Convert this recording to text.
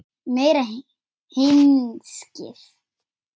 Meira hyskið!